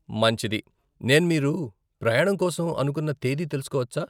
మంచిది, నేను మీరు ప్రయాణం కోసం అనుకున్న తేదీ తెలుసుకోవచ్చా?